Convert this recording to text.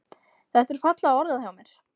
Þetta er fallega orðað hjá mér.